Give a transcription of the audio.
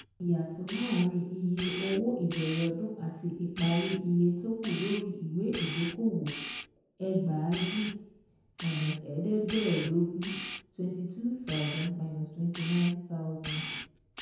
Ìyàtọ̀ láàárín iye owó ìbẹ̀rẹ̀ ọdún àti ìparí iye tó kù lórí ìwé ìdókòwò: ẹgbàájì-ẹ̀ẹ́dẹ̀gbàẹ́ẹdógún( twenty two thousand - twenty nine thousand )